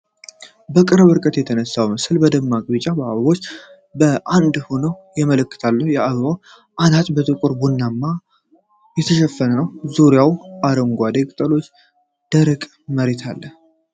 በቅርብ ርቀት የተነሳው ምስል ደማቅ ቢጫ አበባዎችን በአንድ ሆነው ያስመለክታል። የአበባው አናት በጥቁር ቡናማ ቡቃያዎች የተሸፈነ ነው። ዙሪያው አረንጓዴ ቅጠሎችና ደረቅ መሬት አለ።